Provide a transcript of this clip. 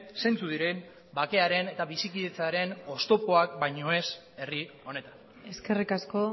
zeintzuk diren bakearen eta bizikidetzaren oztopoak baino ez herri honetan eskerrik asko